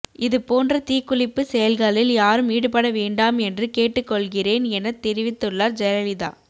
இதுபோன்ற தீக்குளிப்பு செயல்களில் யாரும் ஈடுபட வேண்டாம் என்று கேட்டுக் கொள்கிறேன் எனத்தெரிவித்துள்ளார் ஜெயலலிதா